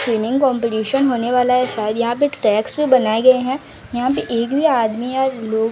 swimming competition होने वाला है शायद यहां पे टैक्स पे बनाए गए हैं यहां पे एक भी आदमी या लोग--